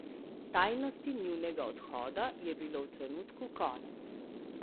Tajnosti njunega odhoda je bilo v trenutku konec.